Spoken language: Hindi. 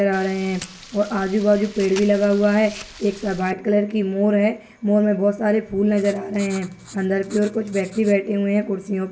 आ रहे है और आजू बाजू पेड़ भी लगा हुआ है एक व्हाइट कलर की मोर है मोर मे बहुत सारे फूल नजर आ रहे है अंदर खुच वेकती बैठे हुए है कुर्सीओ--